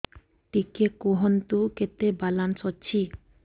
ଟିକେ କୁହନ୍ତୁ କେତେ ବାଲାନ୍ସ ଅଛି